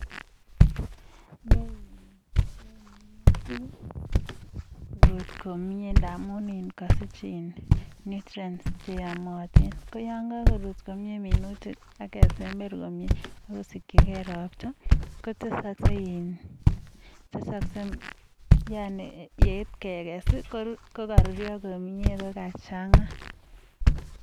chunu komye minutik amun kanyor nutrients chekoron akesember komye akonyor ropta yeit kekese kokachanga.